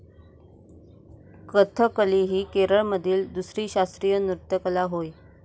कथकली ही केरळमधील दुसरी शास्त्रीय नृत्यकला होय.